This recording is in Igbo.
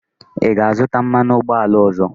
Ị ga-azụta mmanụ ụgbọala ọzọ?